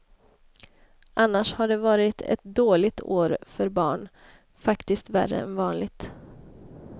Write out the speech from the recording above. Annars har det varit ett dåligt år för barn, faktiskt värre än vanligt.